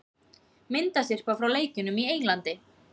Myndasyrpa frá leikjunum í Englandi